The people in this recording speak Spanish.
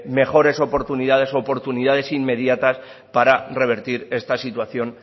mejores oportunidades u oportunidades inmediatas para revertir esta situación